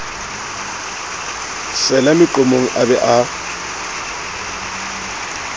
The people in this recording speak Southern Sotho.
sela meqomong a be a